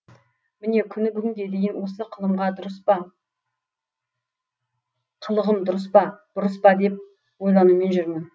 міне күні бүгінге дейін осы қылығым дұрыс па бұрыс па деп ойланумен жүрмін